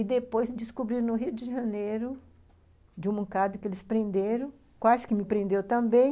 E depois descobri no Rio de Janeiro, de um moncado que eles prenderam, quase que me prenderam também,